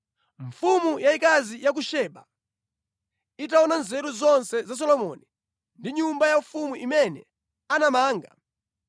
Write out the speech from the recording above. Mfumu yayikazi ya ku Seba itaona nzeru zonse za Solomoni ndiponso nyumba yaufumu imene anamanga,